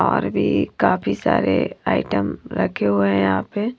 और भी काफी सारे आइटम रखे हुए हैं यहां पे--